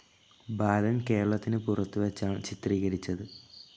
ബാലൻ കേരളത്തിനു പുറത്തുവെച്ചാണ് ചിത്രീകരിച്ചത്.